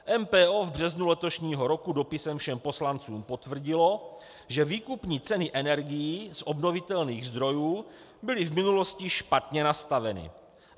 MPO v březnu letošního roku dopisem všem poslancům potvrdilo, že výkupní ceny energií z obnovitelných zdrojů byly v minulosti špatně nastaveny.